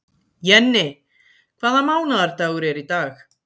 Jenni, hvaða mánaðardagur er í dag?